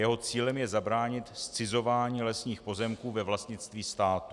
Jeho cílem je zabránit zcizování lesních pozemků ve vlastnictví státu.